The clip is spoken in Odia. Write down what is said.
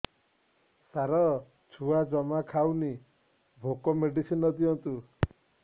ସାର ଛୁଆ ଜମା ଖାଉନି ଭୋକ ମେଡିସିନ ଦିଅନ୍ତୁ